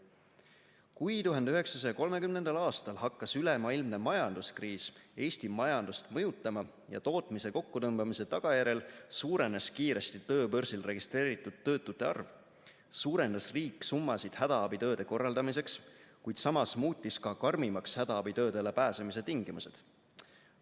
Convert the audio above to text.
Kui 1930. aastal hakkas ülemaailmne majanduskriis Eesti majandust mõjutama ja tootmise kokkutõmbamise tagajärjel suurenes kiiresti tööbörsil registreeritud töötute arv, suurendas riik summasid hädaabitööde korraldamiseks, kuid samas muutis ka karmimaks hädaabitöödele pääsemise tingimused.